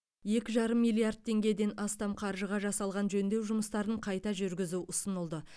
екі жарым миллиард теңгеден астам қаржыға жасалған жөндеу жұмыстарын қайта жүргізу ұсынылды